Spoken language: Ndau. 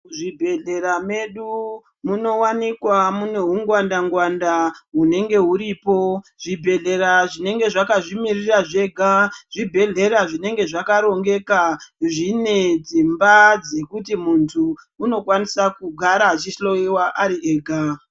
Muzvibhedhlera mwedu munowanikwa mune hungwanda-ngwanda hunenge huripo. Zvibhedhlera zvinenge zvakazvi mirira zvega zvibhedhlera zvinenge zvakarongeka, zvinee dzimba dzekuti muntu unokwanisa kugara achihloiwa ari ega.